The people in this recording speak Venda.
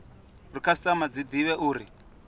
uri khasitama dzi divhe uri